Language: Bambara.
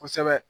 Kosɛbɛ